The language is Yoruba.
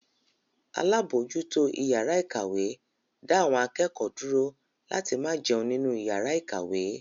Alábòójútó ìyàrá-ìkàwé da awon akẹ́kọ̀ọ́ dúró láti máa jẹun nínú ìyàrá-ìkàwé.